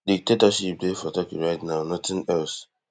dictatorship dey for turkey right now nothing else